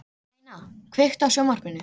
Sveina, kveiktu á sjónvarpinu.